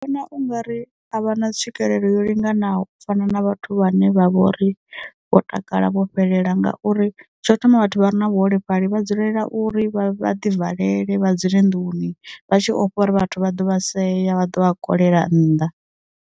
Vhona ungari a vha na tswikelelo yo linganaho u fana na vhathu vhane vha vhori vho takala vho fhelela ngauri, tsho thoma vhathu vha re na vhuholefhali vha dzulela uri vha ḓi valele vha dzule nduni, vha tshi ofha uri vhathu vha ḓo vha seya vha ḓo vha kolela nnḓa.